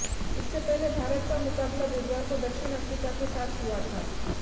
इससे पहले भारत का मुकाबला बुधवार को दक्षिण अफ्रीका के साथ हुआ था